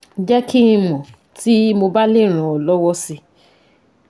Jẹ́ kí n mọ̀ tí mo bá lè ràn ọ́ lọ́wọ́ si